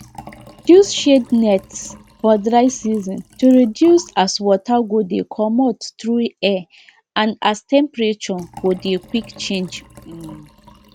use shade nets for dry season to reduce as water go de comot through air and as temperature go de quick change um